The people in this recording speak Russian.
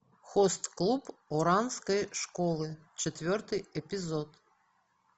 хост клуб оранской школы четвертый эпизод